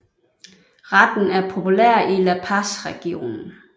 Retten er populær i La Paz regionen